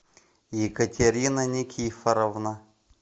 екатерина никифоровна